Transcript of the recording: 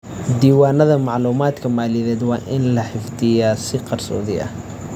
Diiwaanada macluumaadka maaliyadeed waa in la xafidaa si qarsoodi ah.